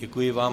Děkuji vám.